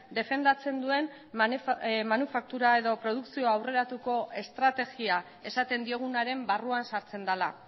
defendatzen duen manufaktura edo produkzio aurreratuko estrategia esaten diogunaren barruan sartzen dela